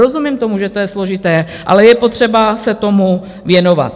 Rozumím tomu, že to je složité, ale je potřeba se tomu věnovat.